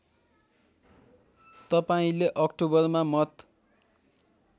तपाईँले अक्टोबरमा मत